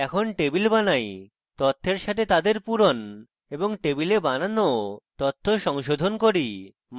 এখন টেবিল বানাই তথ্যের সাথে তাদের পূরণ এবং টেবিলে বানানো তথ্য সংশোধন করি